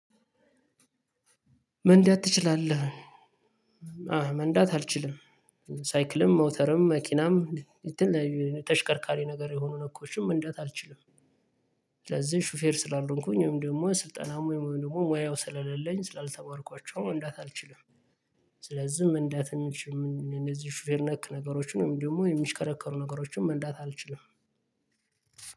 መንዳት ትችላለህ? አዎ መንዳት አልችልም። ሳይክልም ሞተርም መኪናም የተለያየ ተሽከርካሪ ነገር የሆኑ ነኮችም መንዳት አልችልም። ስለዚህ ሹፌር ስላልሆንኩኝ ወይም ደግሞ ስልጠናም ወይም ደግሞ ሙያው ስለሌለኝ ስላልተማርኳቸው መንዳት አልችልም። ስለዚህም መንዳት የሚችሉት ሹፌር ነክ ነገሮችን ደግሞ የሚሽከረከሩ ነገሮችን መንዳት አልችልም።